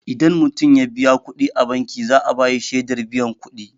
Idan mutum ya biya kuɗi a banki, za'a bashi shaidar biyan kudi.